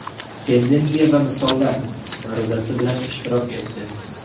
Tendensiya va misollar” ma’ruzasi bilan ishtirok etdi.